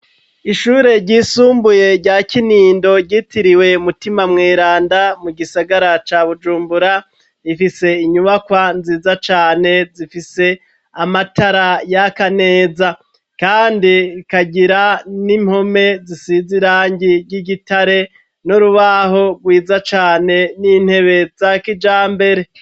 Ishure ryisumbuye rya Kinindo ryitiriwe Mutima Mweranda mu gisagara ca Bujumbura, rifise inyubakwa nziza cane zifise amatara yaka neza, kandi ikagira n'impome zisize irangi ry'igitare n,urubaho rwiza cane n'intebe za kijambere.